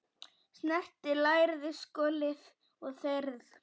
Snyrtið lærið, skolið og þerrið.